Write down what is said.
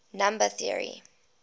number theory